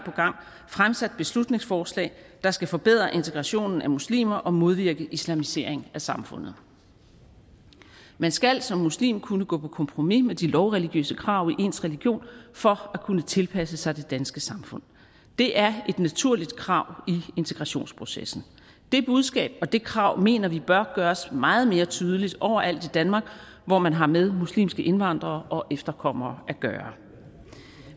fremsat beslutningsforslag der skal forbedre integrationen af muslimer og modvirke islamisering af samfundet man skal som muslim kunne gå på kompromis med de lovreligiøse krav i ens religion for at kunne tilpasse sig det danske samfund det er et naturligt krav i integrationsprocessen det budskab og det krav mener vi bør gøres meget mere tydeligt overalt i danmark hvor man har med muslimske indvandrere og efterkommere at gøre